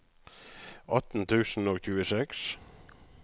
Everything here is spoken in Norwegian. atten tusen og tjueseks